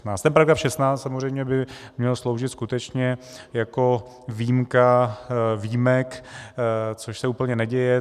Ten § 16 samozřejmě by měl sloužit skutečně jako výjimka výjimek, což se úplně neděje.